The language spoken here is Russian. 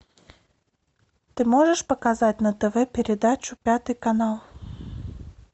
ты можешь показать на тв передачу пятый канал